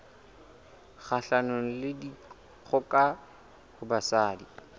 kgahlanong le dikgoka ho basadi